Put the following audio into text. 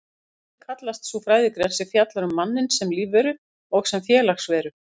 Mannfræði kallast sú fræðigrein sem fjallar um manninn sem lífveru og sem félagsveru.